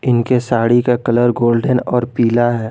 इनके साड़ी का colour golden और पीला है।